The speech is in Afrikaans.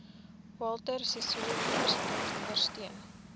walter sisuluuniversiteit ondersteun